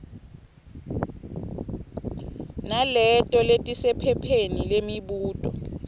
naleto letisephepheni lemibuto